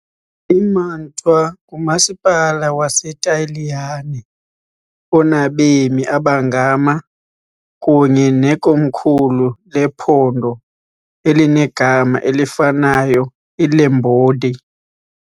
IMantua ngumasipala waseTaliyane onabemi abangama kunye nekomkhulu lephondo elinegama elifanayo eLombardy .